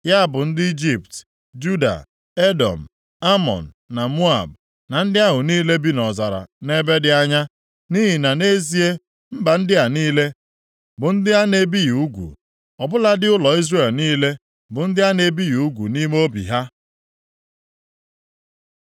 Ya bụ ndị Ijipt, Juda, Edọm, Amọn, na Moab, na ndị ahụ niile bi nʼọzara nʼebe dị anya. Nʼihi na, nʼezie, mba ndị a niile bụ ndị a na-ebighị ugwu. Ọ bụladị ụlọ Izrel niile bụ ndị a na-ebighị ugwu nʼime obi ha.”